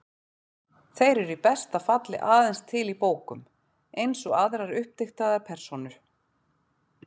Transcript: Þeir eru í besta falli aðeins til í bókum, eins og aðrar uppdiktaðar persónur.